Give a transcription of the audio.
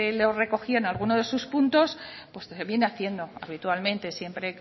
lo recogían en algunos de esos puntos pues viene haciendo habitualmente siempre